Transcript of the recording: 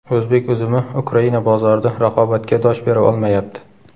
O‘zbek uzumi Ukraina bozorida raqobatga dosh bera olmayapti.